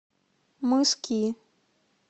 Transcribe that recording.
мыски